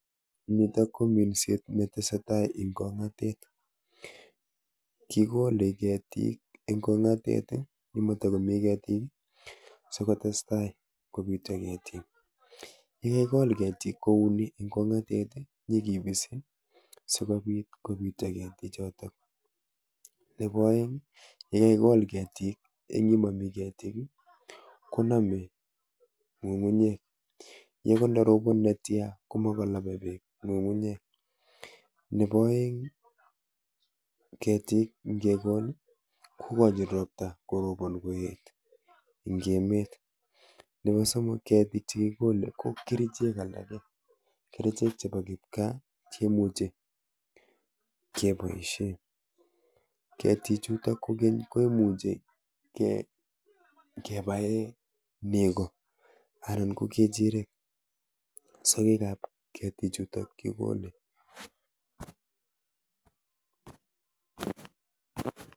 Nitok ko minset nitesetai ing ong'atet. Kikole ketik eng ong'atet yematakomi ketik sikotestai kopityo ketik. Yekakikol ketik kouni eng ong'atet nyikipisi sikobit kopityo ketichoto. Nepo oeng yekakikol ketik eng yemomi ketik konome ng'ung'unyek ye kot ndarobon netia komokonope beek ng'ung'unyek. Nepo oeng ketik ngekol kokochin ropta korobon koet eng emet. Nepo somok ketik chekikole ko kerichek alake, kerichek chepo kipkaa cheimuchi keboishe. ketichutok kokeny ko imuche kepae nego anan ko kechirek sogekap ketichutok kikole